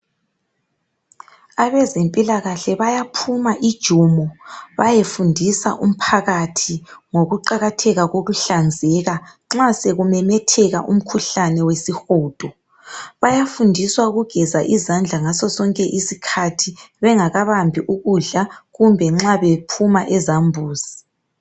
Abezempilakahle bayaphuma ijumo bayefundisa umphakathi ngokuqakatheka kokuhlanzeka nxa sekumemetheka umkhuhlane wesihudo. Bayafundiswa ukugeza izandla ngasosonke isikhathi. Bengakabambi ukudla kumbe nxa bephuma ezambuzi.